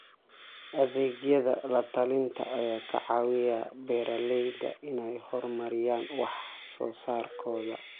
Adeegyada la-talinta ayaa ka caawiya beeralayda inay horumariyaan wax soo saarkooda.